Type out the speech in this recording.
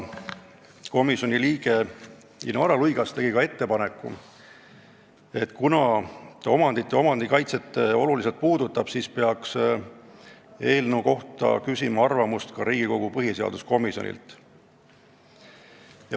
Komisjoni liige Inara Luigas tegi ettepaneku, et kuna see puudutab suuresti omandit ja omandikaitset, siis peaks eelnõu kohta arvamust küsima ka Riigikogu põhiseaduskomisjonilt.